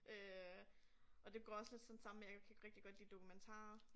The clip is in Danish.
Øh og det går også lidt sådan sammen med jeg kan rigtig god lide dokumentarer